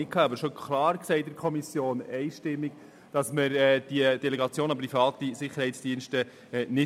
Wir sagten aber in der Kommission klar und einstimmig, dass wir keine Delegation an private Sicherheitsdienste wollen.